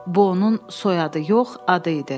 Bu onun soyadı yox, adı idi.